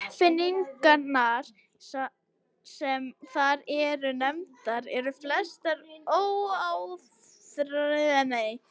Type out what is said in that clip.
Uppfinningarnar sem þar eru nefndar eru flestar óáþreifanlegar: stjórnskipan, bókmenntaform og fræðigreinar.